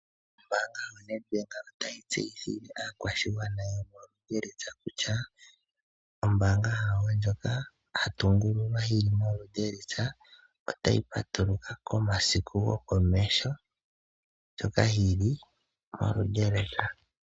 Ombaanga yoNedbank otayi tseyithile aakwashigwana yomo Luderitz kutya ombaanga yawo ndyoka yatungululwa yi li mo Luderitz otayi patuluka momasiku go komeho.